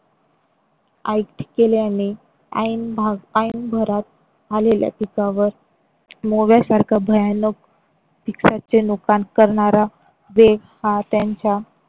केल्याने ऐन भरात आलेल्या पिकावर मोव्यासारखं भयानक चे नुकसान करणारा देव हा त्यांच्या.